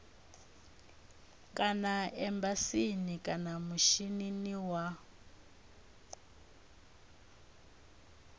kana embasini kana mishinini wa